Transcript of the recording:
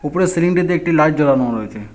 পুরো সিলিংটিতে একটি লাইট জ্বলানো রয়েছে।